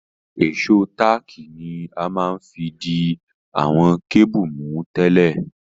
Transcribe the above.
Ìsó tààkì ni a ma n fi di àwon cable mú tẹ́lẹ̀